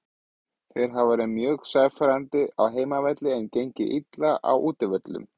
Þeir hafa verið mjög sannfærandi á heimavelli en gengið illa á útivöllum.